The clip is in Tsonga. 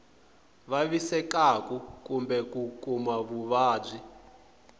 vavisekaku kumbe ku kuma vuvabyi